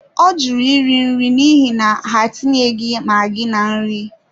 Ọ jụrụ iri nri n'ihi na, ha etinyeghị maggi na nri.